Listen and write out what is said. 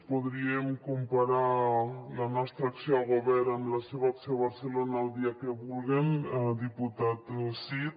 podríem comparar la nostra acció al govern amb la seva acció a barcelona el dia que vulguen diputat cid